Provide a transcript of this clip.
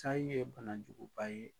Sai ye banajuguba ye